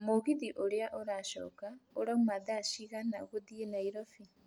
mũgithi ũrĩa ũracoka ũrauma thaa cigana gũthiĩ nairobi